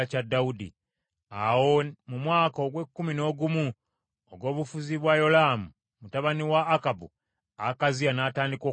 Awo mu mwaka ogw’ekkumi n’ogumu ogw’obufuzi bwa Yolaamu mutabani wa Akabu, Akaziya n’atandika okufuga Yuda.